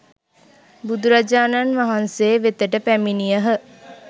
බුදුරජාණන් වහන්සේ වෙතට පැමිණියහ.